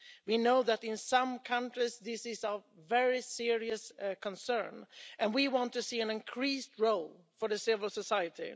We know that in some countries this is of very serious concern, and we want to see an increased role for civil society.